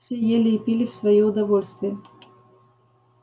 все ели и пили в своё удовольствие